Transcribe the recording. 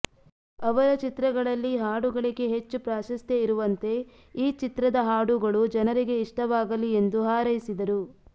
ಅವರ ಚಿತ್ರಗಳಲ್ಲಿ ಹಾಡುಗಳಿಗೆ ಹೆಚ್ಚು ಪ್ರಾಶಸ್ತ್ಯ ಇರುವಂತೆ ಈ ಚಿತ್ರದ ಹಾಡುಗಳೂ ಜನರಿಗೆ ಇಷ್ಟವಾಗಲಿ ಎಂದು ಹಾರೈಸಿದರು